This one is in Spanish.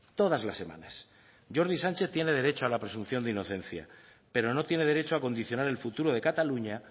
todas las semanas jordi sánchez tiene derecho a la presunción de inocencia pero no tiene derecho a condicionar el futuro de cataluña